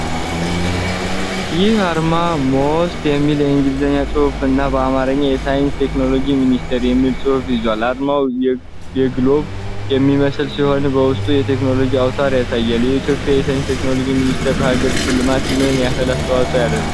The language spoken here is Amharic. ይህ አርማ 'MoST' የሚል የእንግሊዝኛ ጽሑፍን እና በአማርኛ "የሳይንስና ቴክኖሎጂ ሚኒስቴር" የሚል ጽሑፍ ይዟል። አርማው ግሎብ የሚመስል ሲሆን፣ በውስጡ የቴክኖሎጂ አውታር ያሳያል። የኢትዮጵያ የሳይንስና ቴክኖሎጂ ሚኒስቴር ለሀገሪቱ ልማት ምን ያህል አስተዋጽኦ ያደርጋል?